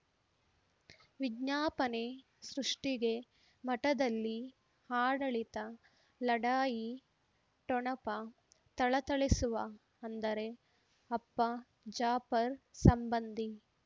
ವಿಜ್ಞಾಪನೆ ಸೃಷ್ಟಿಗೆ ಮಠದಲ್ಲಿ ಆಡಳಿತ ಲಢಾಯಿ ಠೊಣಪ ಥಳಥಳಿಸುವ ಅಂದರೆ ಅಪ್ಪ ಜಾಪರ್ ಸಂಬಂಧಿ